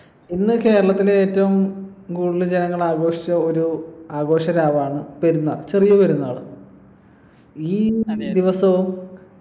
ഇന്ന് കേരളത്തിൽ ഏറ്റവും കൂടുതൽ ജനങ്ങൾ ആഘോഷിച്ച ഒരു ആഘോഷരാവാണ് പെരുന്നാൾ ചെറിയ പെരുന്നാള് ഈ ദിവസവും